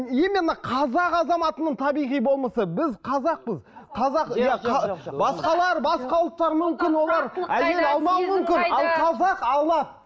именно қазақ азаматының табиғи болмысы біз қазақпыз қазақ басқалар басқа ұлттар мүмкін олар әйел алмауы мүмкін ал қазақ алады